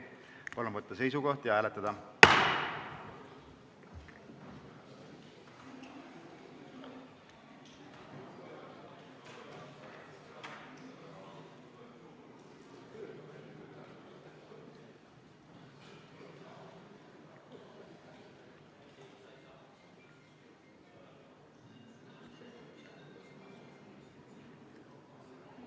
Palun võtta seisukoht ja hääletada!